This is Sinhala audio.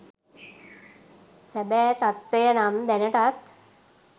සැබෑ තත්වය නම් දැනටත්